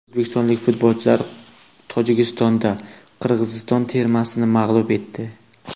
O‘zbekistonlik futbolchilar Tojikistonda Qirg‘iziston termasini mag‘lub etdi.